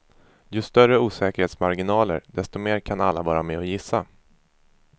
Ju större osäkerhetsmarginaler, desto mer kan alla vara med och gissa.